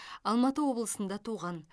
алматы облысында туған